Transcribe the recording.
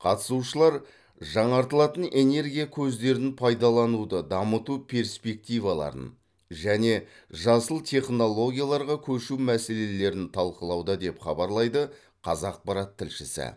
қатысушылар жаңартылатын энергия көздерін пайдалануды дамыту перспективаларын және жасыл технологияларға көшу мәселелерін талқылауда деп хабарлайды қазақпарат тілшісі